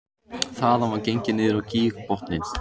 Þaðan var gengið niður á gígbotninn